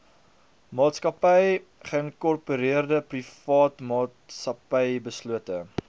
maatsakappy geïnkorpereerdeprivaatmaatsappy beslote